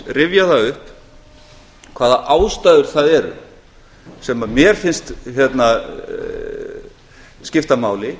rifja það upp hvaða ástæður það eru sem mér finnst skipta máli